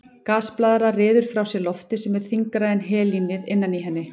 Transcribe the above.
Gasblaðra ryður frá sér lofti sem er þyngra en helínið innan í henni.